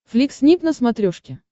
флик снип на смотрешке